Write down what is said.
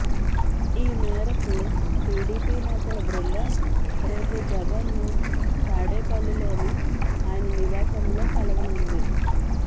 ఈ మేరకు టీడీపీ నేతల బృందం రేపు జగన్ను తాడేపల్లిలోని ఆయన నివాసంలో కలవనుంది